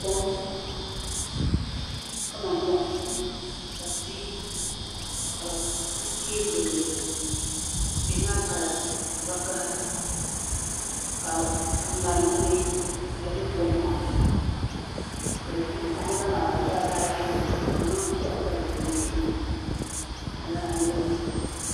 Kom kamani moɣali ka tihi ka di tiɛ gilli tihi maa kala vakaɣa ka ŋarim dibaayi ka di bɛ kom maa zuɣu ka zaɣ yinga maa ka dabba ayi ʒi dizuɣu ka bi zaŋ piɛɣu zali di puuni banbala maa niraba ayi